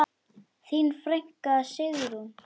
Þín frænka, Sigrún.